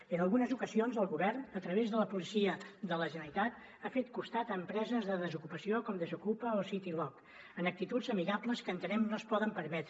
i en algunes ocasions el govern a través de la policia de la generalitat ha fet costat a empreses de desocupació com desokupa o citylock amb actituds amigables que entenem que no es poden permetre